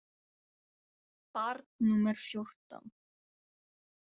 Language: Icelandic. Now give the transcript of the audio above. Barn númer fjórtán.